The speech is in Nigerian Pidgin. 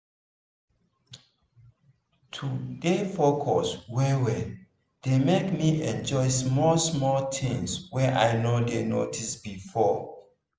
to dey focus well well dey make me enjoy small-small things wey i no dey notice before